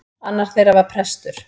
Annar þeirra var prestur.